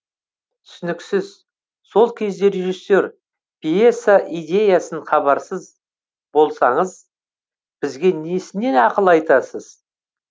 түсініксіз сол кезде режиссер пьеса идеясын хабарсыз болсаңыз бізге несіне ақыл айтасыз